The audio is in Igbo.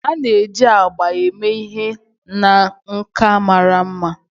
a na-eji agba eme ihe na nka mara mma